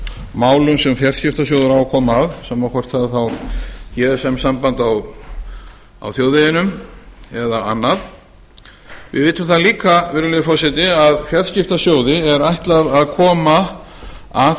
málum sem fjarskiptasjóður á að koma að sama hvort það er þá gsm samband á þjóðveginum eða annað við vitum það líka virðulegi forseti að fjarskiptasjóði er ætlað að koma að